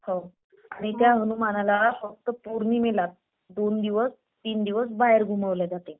हो आणि त्या हनुमानाला फक्त पौर्णिमेलाच दोन दिवस तीन दिवस बाहेर घुमवलं जाते